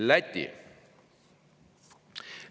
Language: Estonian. Läti.